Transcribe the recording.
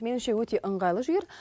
меніңше өте ыңғайлы жігер